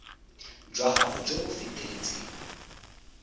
jwa gago jo bo feteletseng